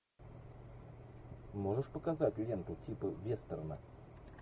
можешь показать ленту типа вестерна